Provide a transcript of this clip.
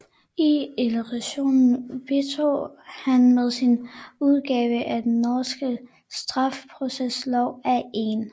I litteraturen bidrog han med sin udgave af Den norske Straffeproceslov af 1